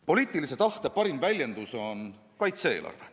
Poliitilise tahte parim väljendus on kaitse-eelarve.